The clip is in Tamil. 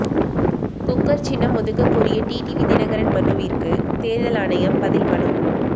குக்கர் சின்னம் ஒதுக்கக் கோரிய டிடிவி தினகரன் மனுவிற்கு தேர்தல் ஆணையம் பதில் மனு